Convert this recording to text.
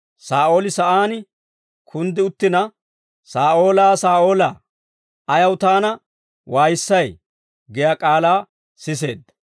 Saa'ooli sa'aan kunddi uttina, «Saa'oolaa Saa'oolaa, ayaw Taana waayissay?» giyaa k'aalaa siseedda.